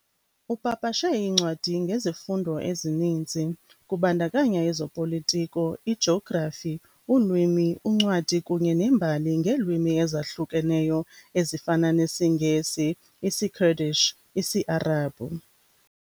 Upapashe iincwadi ngezifundo ezininzi, kubandakanya ezopolitiko, ijografi, ulwimi, uncwadi kunye nembali ngeelwimi ezahlukeneyo ezifana nesiNgesi, isiKurdish, isiArabhu.